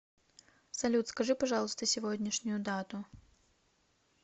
салют скажи пожалуйста сегодняшнюю дату